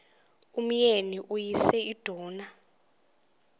umyeni uyise iduna